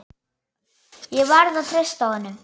Ég verð að treysta honum.